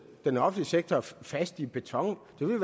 den offentlige sektor fast i beton må vi